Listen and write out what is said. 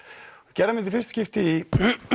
gerðum þetta í fyrsta skipti